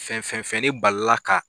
Fɛn fɛn fɛn ne balila ka.